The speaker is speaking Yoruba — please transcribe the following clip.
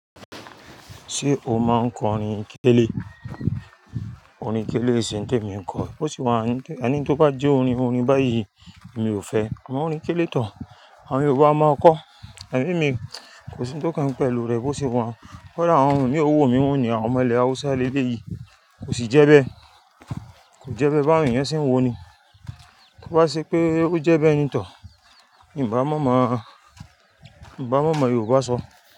Ṣé o máa ń kọ orin kélé? Orin kélé e se ń témi n kọ. Ó sì wá, ani n tó bá jó orin, orin báyìí mi ò fẹ́. Àwọn orin kélé tán. Àwọn Yorùbá máa kọ́. Amo emi kò sí ń tó kan mi pẹ̀lú rẹ̀ bó ṣe wà un. Kodá, awon ohùn imi ó wu mi wù ní àwọn ọmọ ilẹ̀ Hausa leleyìí kò sì jẹ́ bẹ́. Kò jẹ́ bẹ́ báwon eyàn ṣe ń wo ni. Tó bá ṣe pé ó jẹ́ bẹ́ ní tò, n bá mọ̀ mo, n bá mọ̀ mọ̀ Yorùbá sọ.